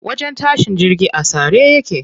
Wajen tashin jirgi a tsare yake.